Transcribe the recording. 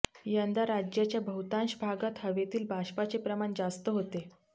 यंदा राज्याच्या बहुतांश भागात हवेतील बाष्पाचे प्रमाण जास्त होते